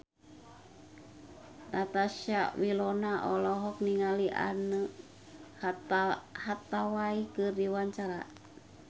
Natasha Wilona olohok ningali Anne Hathaway keur diwawancara